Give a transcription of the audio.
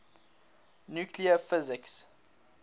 nuclear physics